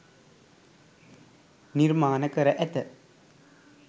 නිර්මාණ කර ඇත.